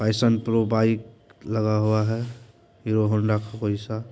passion pro bike लगा हुआ है हीरो होंडा वैसा--